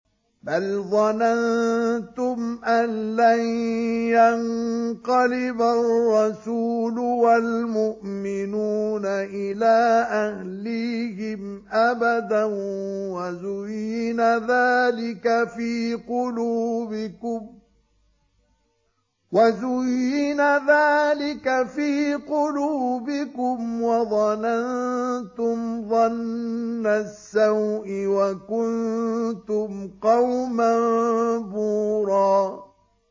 بَلْ ظَنَنتُمْ أَن لَّن يَنقَلِبَ الرَّسُولُ وَالْمُؤْمِنُونَ إِلَىٰ أَهْلِيهِمْ أَبَدًا وَزُيِّنَ ذَٰلِكَ فِي قُلُوبِكُمْ وَظَنَنتُمْ ظَنَّ السَّوْءِ وَكُنتُمْ قَوْمًا بُورًا